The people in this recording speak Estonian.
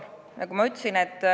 Jah, see oht on.